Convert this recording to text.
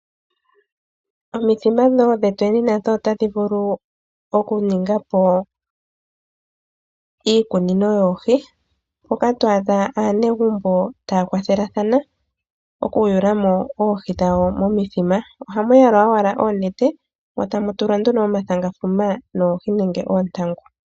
Omithima dhetweni otadhi vulu okuningapo iikunino yoohi , mpoka twaadha aanegumbo taya kwathelathana okuyula oohi dhawo momithima. Ohamu yalwa owala oonete motamu tulwa omathangafuma noohi nenge oontangu.